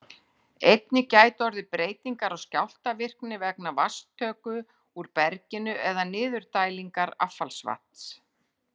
Einnig gætu orðið breytingar á skjálftavirkni vegna vatnstöku úr berginu eða niðurdælingar affallsvatns.